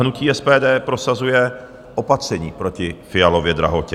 Hnutí SPD prosazuje opatření proti Fialově drahotě.